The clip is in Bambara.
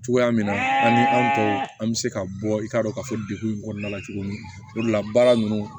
Cogoya min na an ko an bɛ se ka bɔ i k'a dɔn ka fɔ degun in kɔnɔna la cogo min o de la baara ninnu